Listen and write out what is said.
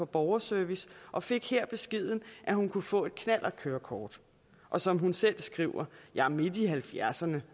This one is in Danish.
borgerservice og fik her beskeden at hun kunne få et knallertkørekort og som hun selv skriver jeg er midt i halvfjerdserne